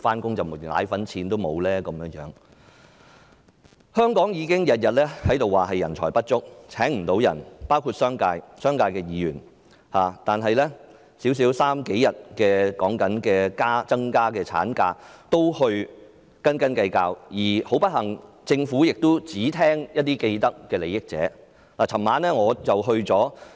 香港包括商界、商界的議員，已經每天也在說人才不足，無法聘請到員工，但此刻只是增加數天侍產假也在斤斤計較，而很不幸，政府只聽取一些既得利益者的意見。